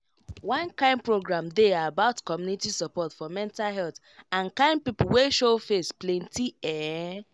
one kind program dey about community support for mental health and kind people wey show face plenty ehh